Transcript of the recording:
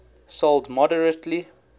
sold moderately